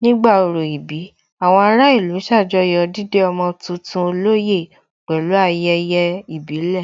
Nígbà orò ìbí, àwọn ará ìlú ṣàjọyọ̀ dídé ọmọ tuntun olóyè pẹ̀lú ayẹyẹ ìbílẹ̀